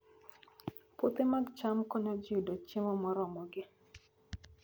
Puothe mag cham konyo ji yudo chiemo moromogi